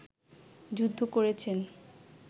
যুদ্ধ করেছেন